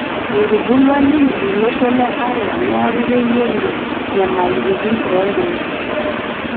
Etubulia ninye tolosho le Arua neeku keyiolo nyamaliritin ooltung'ana